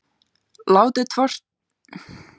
Látið hvort tveggja í pottinn síðustu mínútur suðutímans.